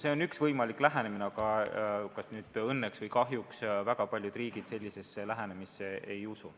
See on üks võimalik lähenemine, aga kas õnneks või kahjuks väga paljud riigid sellisesse lähenemisesse ei usu.